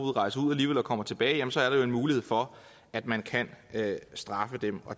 kommer tilbage så er der jo mulighed for at man kan straffe dem